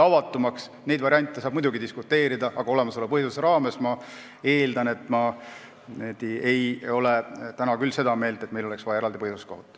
Võimaluste üle saab muidugi diskuteerida, aga olemasoleva põhiseaduse raames, ma eeldan küll, ei oleks meil vaja eraldi põhiseaduskohut.